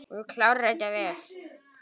Þú klárar þetta vel.